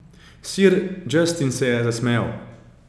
Ser Justin se je zasmejal.